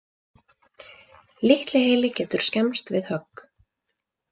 Litli heili getur skemmst við högg.